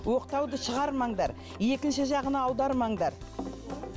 оқтауды шығармаңдар екінші жағына аудармаңдар